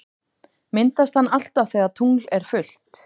Myndast hann alltaf þegar tungl er fullt?